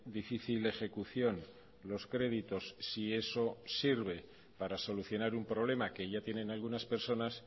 difícil ejecución los créditos si eso sirve para solucionar un problema que ya tienen algunas personas